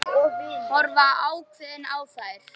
Horfa ákveðin á þær.